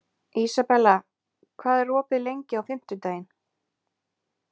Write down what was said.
Ísabella, hvað er opið lengi á fimmtudaginn?